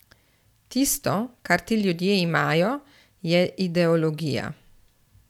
Tisto, kar ti ljudje imajo, je ideologija.